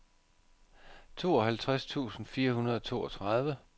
tooghalvtreds tusind fire hundrede og toogtredive